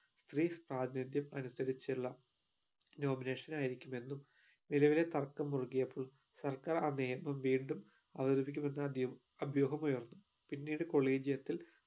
സ്ത്രീ സാന്നിധ്യം അനുസരിച്ചുള്ള nomination ആയിരിക്കും എന്നും നിലവിലെ തർക്കം മുറുകിയപ്പോൾ സർക്കാർ ആ നിയമം വീണ്ടും അവതരിപ്പിക്കും എന്ന അഭ്യൂഹ് അഭ്യൂഹം ഉയർന്നു പിന്നീട് collegium ത്തിൽ